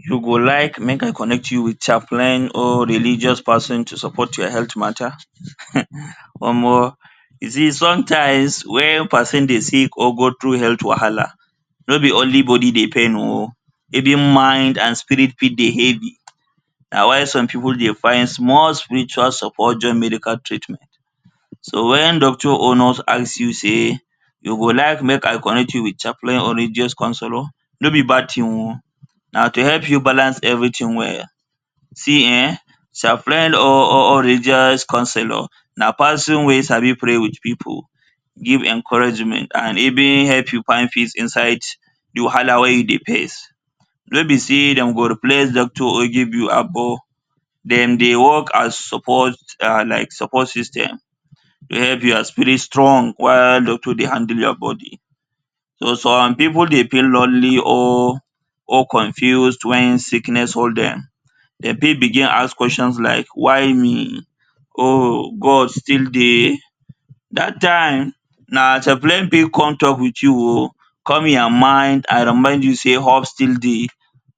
You go like make I connect you with chaplain or religious person to support your health matter um Omo, you see sometimes wey person dey sick or go through health wahala nor be only body dey pain oh even your mind and spirit fit dey heavy na why some people dey find small spiritual support join medical treatment. So when doctor or nurse ask you say you go like make, I connect you with chaplain or religious counselor nor be bad thing oh na to help you balance everything well, see um chaplain or ,or religious counselor, na person wey sabi pray with people give encouragement and even help you find peace inside the wahala wey you dey face nor be say dem go replace doctor or give you agbo dem dey work as support, like support system to help your spirit strong while doctor dey handle your body some people dey feel lonely or confused when sickness hold dem, dem fit begin as question like why me?, oh God still dey? dat time na chaplain fit come talk with you oh calm your mind and remind you say hope still dey.